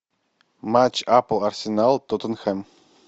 матч апл арсенал тоттенхэм